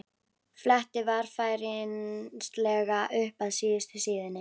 Fletti varfærnislega upp að síðustu síðunni.